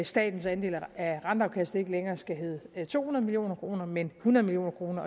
statens andel af renteafkastet ikke længere skal hedde to hundrede million kr men hundrede million